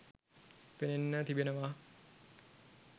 පෙනෙන්න තිබෙනව